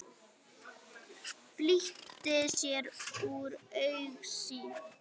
Flýtir sér úr augsýn.